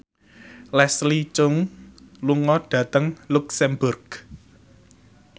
Leslie Cheung lunga dhateng luxemburg